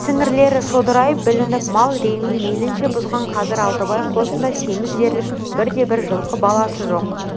сіңірлері шодырайып білініп мал реңін мейлінше бұзған қазір алтыбай қосында семіз дерлік бірде-бір жылқы баласы жоқ